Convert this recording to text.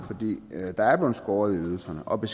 måneden